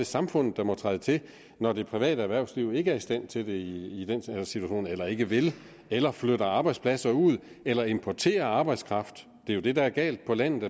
samfundet der må træde til når det private erhvervsliv ikke er i stand til det i den her situation eller ikke vil eller flytter arbejdspladser ud eller importerer arbejdskraft det er jo det der er galt på landet